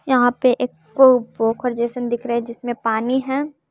यहां पे एक पो पोखर जैसन दिख रहे जिसमें पानी है।